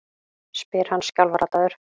spyr hann skjálfraddaður.